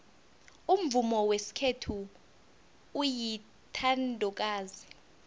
umvumo wesikhethu uyintandokazi